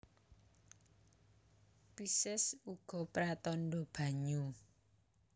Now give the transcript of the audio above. Pisces uga pratandha banyu